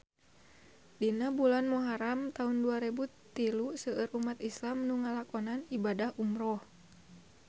Dina bulan Muharam taun dua rebu tilu seueur umat islam nu ngalakonan ibadah umrah